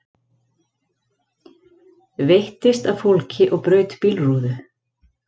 Veittist að fólki og braut bílrúðu